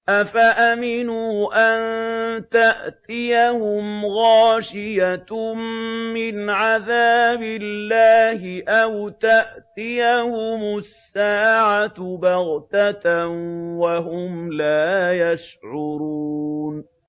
أَفَأَمِنُوا أَن تَأْتِيَهُمْ غَاشِيَةٌ مِّنْ عَذَابِ اللَّهِ أَوْ تَأْتِيَهُمُ السَّاعَةُ بَغْتَةً وَهُمْ لَا يَشْعُرُونَ